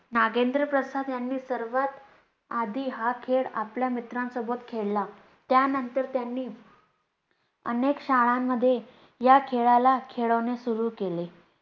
नागेंद्र प्रसाद यांनी सर्वात आधी हा खेळ आपल्या मित्रांसोबत खेळला, त्या नंतर त्यांनी अनेक शाळांमध्ये या खेळlला खेळवणे सुरु केले.